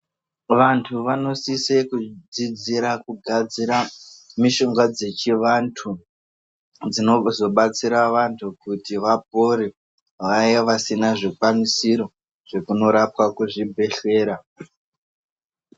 Vanhu vanokwanisa kufundira kugadzira mishonga yechivanhu. Iyo inozokwanisa kubatsira vanhu kuti vapore, vaya vanenge vasina zvikakwana zvekuti vandorapwa kuzvipatara.